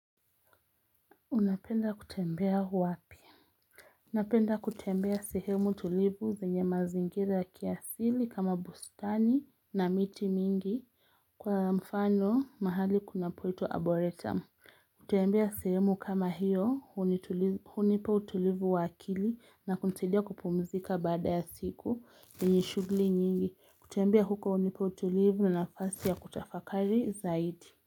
Unapenda kutembea wapi? Unapenda kutembea sehemu tulivu za nye mazingira kiasili kama bustani na miti mingi Kwa mfano mahali kuna poitwa aboretum kutembea sehemu kama hiyo hunipa utulivu wakili na kuntidia kupumzika baada ya siku yenye shughuli nyingi kutembea huko hunipo utulivu na nafasi ya kutafakari zaidi.